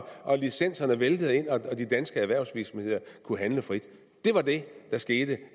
og licenserne væltede ind og de danske erhvervsvirksomheder kunne handle frit det var det der skete